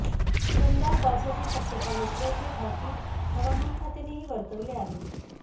दमदार पावसाची शक्यता नसल्याचे भाकीत हवामान खात्यानेही वर्तवले आहे